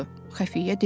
Xəfiyyə dedi.